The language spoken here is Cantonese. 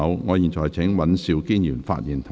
我請尹兆堅議員發言及動議議案。